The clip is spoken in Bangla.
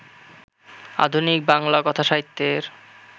আধুনিক বাংলা কথাসাহিত্যের